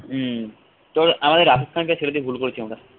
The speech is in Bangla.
হম তোর আমাদের রাশিদ খানকে ছেড়ে দিয়ে ভুল করেছি আমরা।